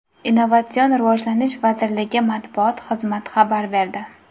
Innovatsion rivojlanish vazirligi matbuot xizmat xabar berdi.